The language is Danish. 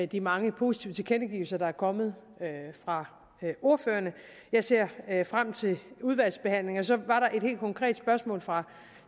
de mange positive tilkendegivelser der er kommet fra ordførerne jeg ser frem til udvalgsbehandlingen så var der et helt konkret spørgsmål fra